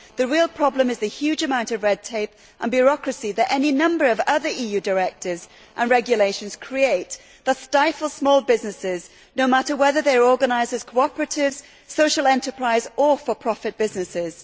The real problem is the huge amount of red tape and bureaucracy that any number of other EU directives and regulations create and thus stifle small businesses, no matter whether they are organised as cooperatives, social enterprises or for profit businesses.